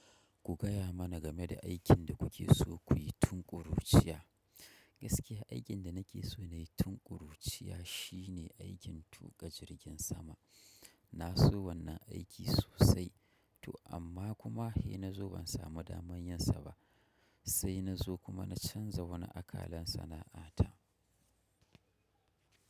Ku gaya mana game da aikin da kuke so kuyi tun ƙuruciya. Gaskiya aikin da nake so nayi tun ƙuruciya shine aikin tuƙa jirgin sama. Na so wannan aiki sosai, to amma kuma, hei na zo ban samu daman yinsa ba. Sai nazo kuma na chanza wani akalan sana'a ta.